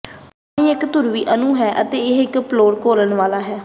ਪਾਣੀ ਇੱਕ ਧਰੁਵੀ ਅਣੂ ਹੈ ਅਤੇ ਇਹ ਇੱਕ ਪੋਲਰ ਘੋਲਨ ਵਾਲਾ ਵੀ ਹੈ